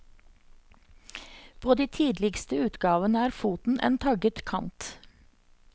På de tidligste utgavene er foten en tagget kant.